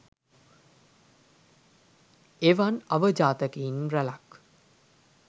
එවන් අවජාතකයින් රැලක්